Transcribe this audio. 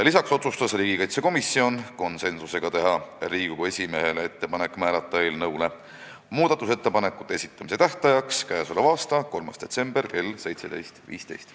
Lisaks otsustas riigikaitsekomisjon konsensusega teha Riigikogu esimehele ettepaneku määrata eelnõu muudatusettepanekute esitamise tähtajaks k.a 3. detsember kell 17.15.